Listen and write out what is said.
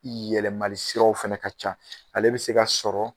Yɛlɛmali siraw fana ka ca, ale bɛ se ka sɔrɔ